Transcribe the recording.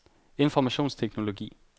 informationsteknologi